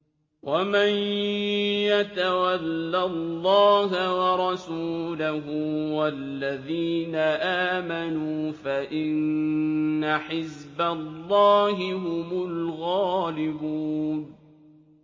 وَمَن يَتَوَلَّ اللَّهَ وَرَسُولَهُ وَالَّذِينَ آمَنُوا فَإِنَّ حِزْبَ اللَّهِ هُمُ الْغَالِبُونَ